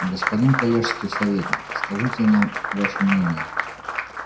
господин коллежский советник скажите нам ваше мнение